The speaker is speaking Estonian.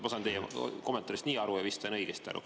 Ma saan teie kommentaarist nii aru ja vist saan õigesti aru.